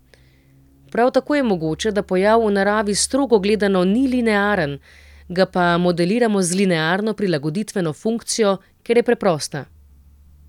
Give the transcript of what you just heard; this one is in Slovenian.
Prav tako je mogoče, da pojav v naravi strogo gledano ni linearen, ga pa modeliramo z linearno prilagoditveno funkcijo, ker je preprosta.